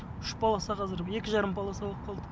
үш полоса қазір екі жарым полоса болып қалды